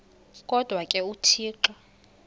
kodwa ke uthixo